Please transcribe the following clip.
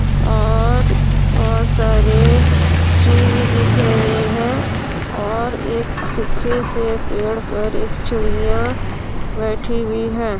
और बहुत सारे ट्री भी दिख रहें हैं और एक सूखे से पेड़ पर एक चिड़ियां बैठी हुई है।